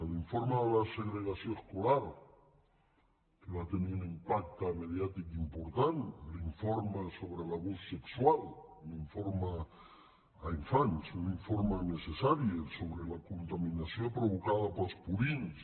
l’informe de la segregació escolar que va tenir un impacte mediàtic important l’informe sobre l’abús sexual l’informe a infants un informe necessari sobre la contaminació provocada pels purins